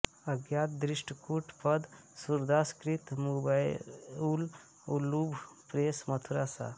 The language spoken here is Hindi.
अज्ञात दृष्टकूट पद सूरदास कृत मुंबैउल उलूभ प्रेस मथुरा सं